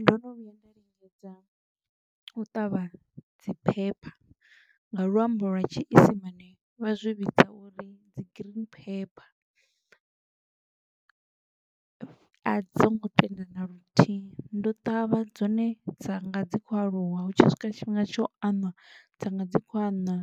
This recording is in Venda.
Ndo no vhuya nda lingedza, u ṱavha dzi pepper nga luambo lwa tshiisimane, vha zwi vhidza uri dzi green pepper a dzo ngo tenda na luthihi, ndo ṱavha dzone dza nga dzi kho aluwa hu tshi swika tshifhinga tsha u aṋwa, dza nga dzi kho aṋwa,